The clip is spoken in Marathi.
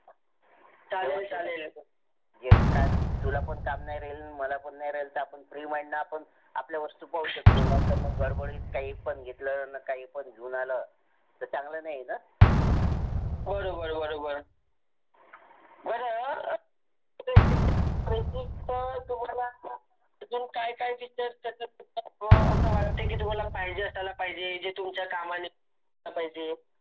बर बर बर बर आसे वाटते की तुमाला पाहीजे थेला पाहीजे ये जे तुमचा कामनी असायला पाहिजे.